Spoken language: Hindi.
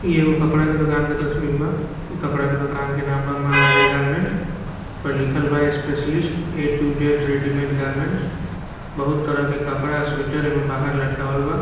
इ एगो कपडा के दुकान के तस्बीर बा इ कपड़ा के दुकान के नाम बा महाराजा गारेंमेंट्स इ पर लीखल बा specialist A to Z readymade garments बहुत तरह के कपड़ा आ स्वीटर बाहर लटकावल बा |